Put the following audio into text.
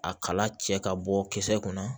A kala cɛ ka bɔ kisɛ kunna